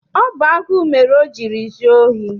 Ọ bụ agụụ mere o jiri zuo ohi?